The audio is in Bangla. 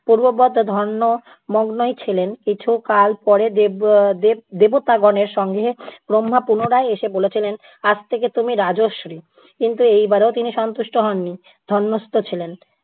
পূর্বব্রত ধ্যান মগ্নই ছিলেন কিছুকাল পরে দেব উম দেব~ দেবতাগণের সঙ্গে ব্রহ্মা পুনরায় এসে বলে ছিলেন আজ থেকে তুমি রাজর্ষি। কিন্তু এইবারেও তিনি সন্তুষ্ট হননি, ধ্যানস্থ ছিলেন।